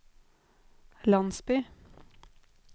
landsby